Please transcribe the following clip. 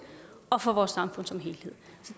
og for vores samfund som helhed